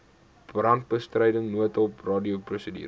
brandbestryding noodhulp radioprosedure